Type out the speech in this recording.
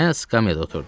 Mən də skamyada oturdum.